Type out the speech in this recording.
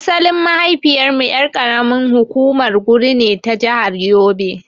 Asalin mahaifiyar mu ƴar ƙaramin hukumar Nguru ne ta jahar yobe.